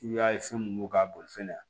I y'a ye fɛn mun b'o ka boli fɛnɛ yan